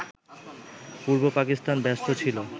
পূর্ব পাকিস্তান ব্যস্ত ছিল